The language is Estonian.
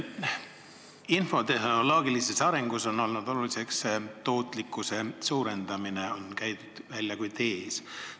Infotehnoloogilises arengus on olnud tähtis tootlikkuse suurendamine, see on käidud välja kui tees.